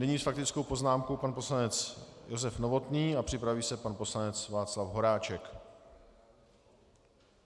Nyní s faktickou poznámkou pan poslanec Josef Novotný a připraví se pan poslanec Václav Horáček.